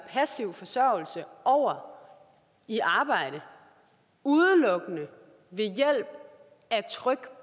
passiv forsørgelse og over i arbejde udelukkende ved hjælp af tryk